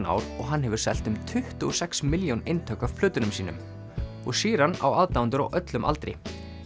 ár og hann hefur selt um tuttugu og sex milljón eintök af plötunum sínum og Sheeran á aðdáendur á öllum aldri